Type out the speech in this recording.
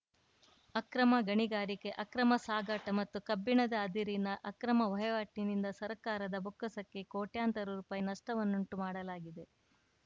ಅಕ್ರಮ ಗಣಿಗಾರಿಕೆ ಅಕ್ರಮ ಸಾಗಾಟ ಮತ್ತು ಕಬ್ಬಿಣದ ಅದಿರಿನ ಅಕ್ರಮ ವಹಿವಾಟಿನಿಂದ ಸರ್ಕಾರದ ಬೊಕ್ಕಸಕ್ಕೆ ಕೋಟ್ಯಂತರ ರೂಪಾಯಿ ನಷ್ಟವನ್ನುಂಟು ಮಾಡಲಾಗಿದೆ